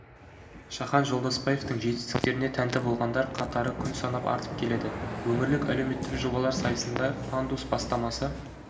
шахан жолдасбаевтың жетістіктеріне тәнті болғандар қатары күн санап артып келеді өңірлік әлеуметтік жобалар сайысында пандус бастамасы